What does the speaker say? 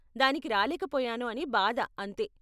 దానికి రాలేకపోయాను అని బాధ అంతే.